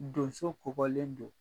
Donso kokɔlen don.